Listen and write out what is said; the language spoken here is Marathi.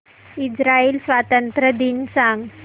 इस्राइल स्वातंत्र्य दिन सांग